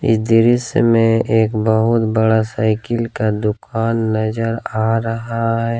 दृश्य मे एक बहुत बड़ा साइकिल का दुकान नजर आ रहा है।